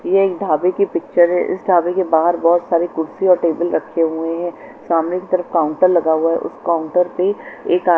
यह एक ढाबे की पिक्चर हैं इस ढाबे के बाहर बहुत सारी कुर्सी और टेबल रखे हुए है सामने की तरफ काउंटर लगा हुआ है उस काउंटर पे एक --